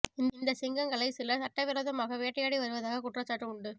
இந்த சிங்கங்களை சிலர் சட்ட விரோதமாக வேட்டையாடி வருவதாக குற்றச்சாட்டு உண்டு